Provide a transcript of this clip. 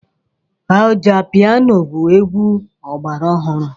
Ọjà piano bụ egwu ọgbara ọhụrụ.